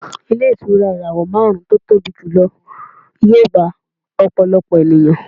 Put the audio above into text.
Ilé ìtura ìràwọ̀ márùn-ún tí ó tóbi jùlọ yóò gba ọ̀pọ̀lọpọ̀ ènìyàn